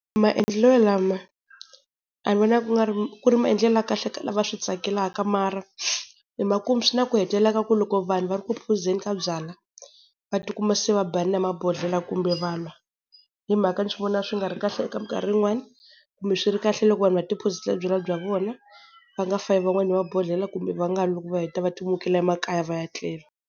Maendlelo lama a ni vona ku nga ri ku ri maendlelo ya kahle ka lava swi tsakelaka mara hi makumu swi na ku hetelela ka ku loko vanhu va ri ku phuzeni ka byala va ti kuma se va banana hi mabodhlela kumbe va lwa. Hi mhaka ni vona swi nga ri kahle eka minkarhi yin'wani kumbe swi ri kahle loko vanhu va ti phuzela byalwa bya vona va nga fayi van'wani hi mabodhlela kumbe va nga lwi loko va heta va ti mukela emakaya va ya tlela.